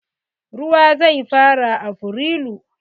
Ruwa zai fara afrilu.